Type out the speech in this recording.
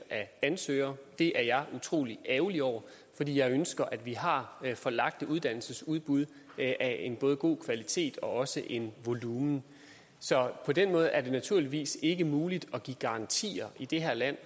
af ansøgere det er jeg utrolig ærgerlig over fordi jeg ønsker at vi har forlagte uddannelsesudbud af en både god kvalitet og også et volumen så på den måde er det naturligvis ikke muligt at give garantier i det her land